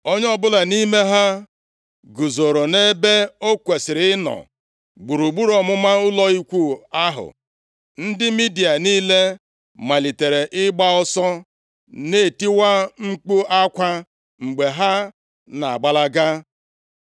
Onye ọbụla nʼime ha guzoro nʼebe o kwesiri ịnọ gburugburu ọmụma ụlọ ikwu ahụ. Ndị Midia niile malitere ịgba ọsọ, na-etikwa mkpu akwa mgbe ha na-agbalaga.